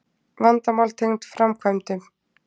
Vandamál tengd framkvæmdum